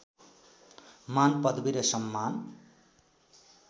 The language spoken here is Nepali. मान पदवी र सम्मान